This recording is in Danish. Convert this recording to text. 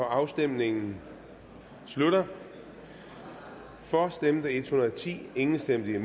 afstemningen slutter for stemte en hundrede og ti imod stemte